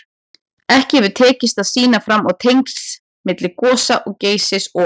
Ekki hefur tekist að sýna fram á tengsl milli gosa Geysis og